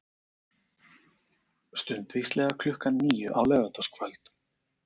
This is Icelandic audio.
Stundvíslega klukkan níu á laugardagskvöld.